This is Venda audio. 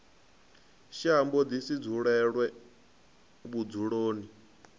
shambo ḓi si sudzuluwe vhudzuloni